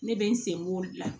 Ne bɛ n senbɔ o de la